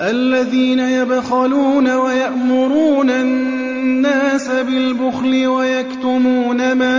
الَّذِينَ يَبْخَلُونَ وَيَأْمُرُونَ النَّاسَ بِالْبُخْلِ وَيَكْتُمُونَ مَا